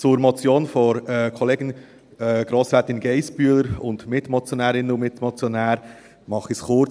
Zur Motion von Kollegin Grossrätin Geissbühler und den Mitmotionärinnen und Mitmotionären mache ich es kurz: